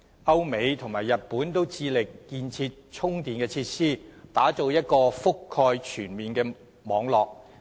歐美及日本均致力建設充電設施，打造一個覆蓋全面的網絡。